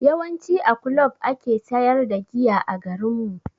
Yawanci a kulob ake sayar da giya a garinmu.